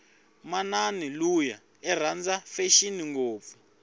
manani luya iranda fashini ngopfu